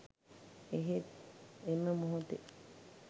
එහෙත් එම මොහොතේ